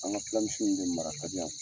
An ka fila misiw nu de mara ka di yan.